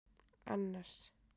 Annas